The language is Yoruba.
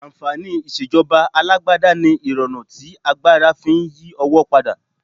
Ànfàní ìṣèjọba alágbádá ni irọrun tí agbára fi ń yí owó padà.